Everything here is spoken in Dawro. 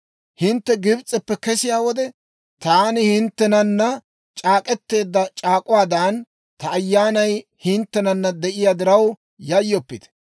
Hintte Gibs'eppe kesiyaa wode, taani hinttenana c'aak'k'eteedda c'aak'uwaadan, ta Ayyaanay hinttenana de'iyaa diraw yayyoppite!